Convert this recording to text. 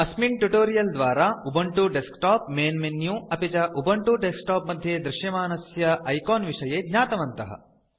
अस्मिन् ट्यूटोरियल् द्वारा Ubuntu desktop main menu अपि च उबुन्तु डेस्कटॉप मध्ये दृश्यमानस्य आइकॉन्स् विषये ज्ञातवन्तः